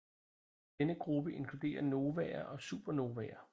Denne gruppe inkluderer novaer og supernovaer